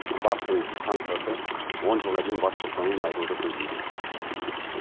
баптың санкциясы он жылға дейін бас бостандығынан айыруды көздейді